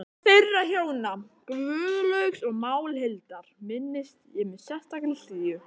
Þeirra hjóna, Guðlaugs og Málhildar, minnist ég með sérstakri hlýju.